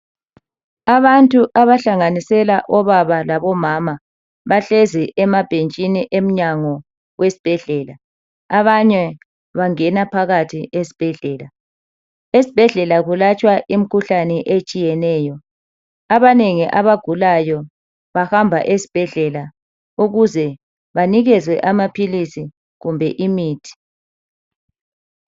Abantu abahlanganisela obaba labo mama bahlezi emabhentshini emnyango we sbhedlela abanye bangena phakathi esibhedlela esibhedlela kulatshwa imikhuhlane etshiyeneyo abanengi abagulayo bahambe esibhedlela ukuze banikezwe amaphilisi kumbe imithi